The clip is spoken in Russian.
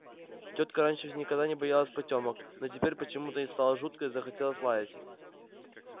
тётка раньше никогда не боялась потёмок но теперь почему-то ей стало жутко и захотелось лаять